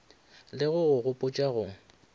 le go go gopotša go